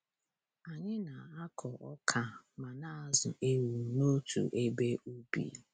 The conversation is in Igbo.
Anyị na-akọ ọka ma na-azụ ewu n'otu ebe ubi.